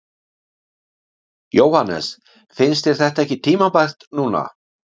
Jóhannes: Finnst þér þetta ekki tímabært núna?